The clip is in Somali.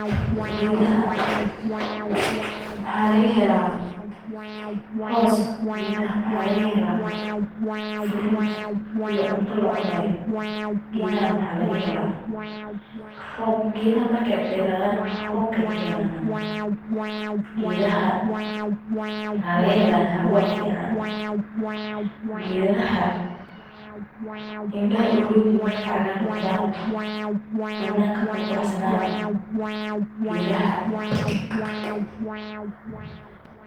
Gedaha waxa lagahela hoos, furut iyo wax lacunayo gedaha markey deradan waxa lagahela rob oo waxa lagahela hawo fican gedaha indaha ayey uronyihin markey weynadan.